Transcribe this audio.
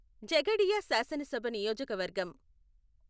ఝగడియా శాసనసభ నియోజకవర్గం